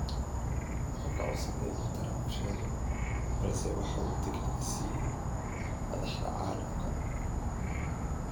Wuu ka gaabsaday inuu Trump sheego balse waxa uu digniintan siiyay madaxda caalamka.